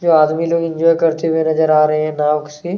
जो आदमी लोग इंजॉय करते हुए नज़र आ रहे हैं नाव से--